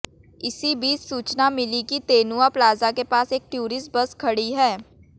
इसी बीच सूचना मिली कि तेनुआ प्लाजा के पास एक टूरिस्ट बस खड़ी है